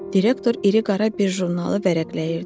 Direktor iri qara bir jurnalı vərəqləyirdi.